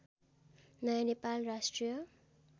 नयाँ नेपाल राष्ट्रिय